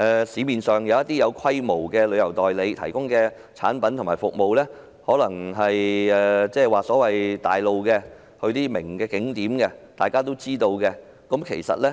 市面上一些具規模旅行代理商提供的產品和服務，行程可能是前往一些大眾化、人所皆知的著名景點。